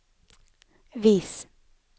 vis